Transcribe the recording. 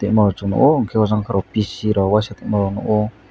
emang o chowng nogo hingke o jang kebo pc rok washapono nogo.